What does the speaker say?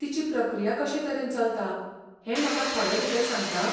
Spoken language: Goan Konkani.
तिची प्रक्रिया कशेतरेन चलता हें म्हाका थोडेभितर सांगता?